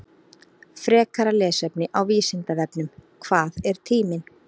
Frekara lesefni á Vísindavefnum: Hvað er tíminn?